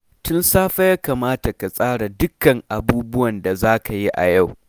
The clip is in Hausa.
Tun safe ya kamata ka tsara dukkan abubuwan da za ka yi a yau